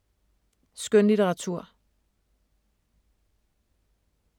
Skønlitteratur